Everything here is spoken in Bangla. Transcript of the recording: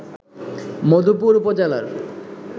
মধুপুর উপজেলার